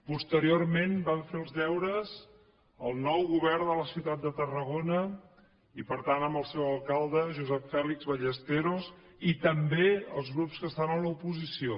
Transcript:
posteriorment van fer els deures el nou govern de la ciutat de tarragona i per tant el seu alcalde josep fèlix ballesteros i també els grups que estan a l’oposició